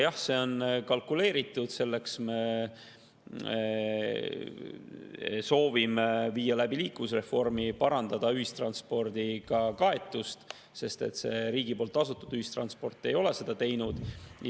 Jah, see on kalkuleeritud selleks, et me soovime viia läbi liikuvusreformi ja parandada ühistranspordiga kaetust, sest riigi poolt tasutud ühistranspordiga ei ole seda.